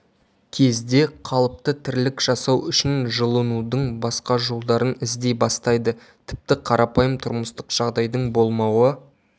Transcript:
кезде қалыпты тірлік жасау үшін жылынудың басқа жолдарын іздей бастайды тіпті қарапайым тұрмыстық жағдайдың болмауы